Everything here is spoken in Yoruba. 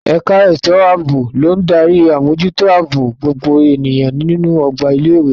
Ẹ̀ka ètò ààbò ló ń darí àmójútó ààbò gbogbo ènìyàn nínú ọgbà ilé ìwé.